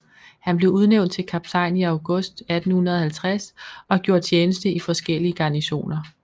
Han blev udnævnt til kaptajn i august 1850 og gjorde tjeneste i forskellige garnisoner